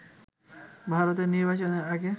ভারতের নির্বাচনের আগে